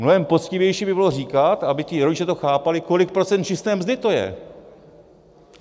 Mnohem poctivější by bylo říkat, aby ti rodiče to chápali, kolik procent čisté mzdy to je.